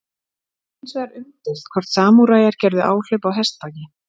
Það er hins vegar umdeilt hvort samúræjar gerðu áhlaup á hestbaki.